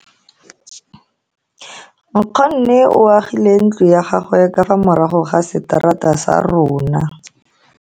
Nkgonne o agile ntlo ya gagwe ka fa morago ga seterata sa rona.